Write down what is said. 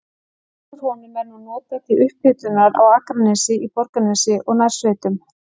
Vatn úr honum er nú notað til upphitunar á Akranesi, í Borgarnesi og nærsveitum.